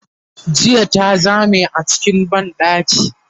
jiya ta Zame a cikin banɗaki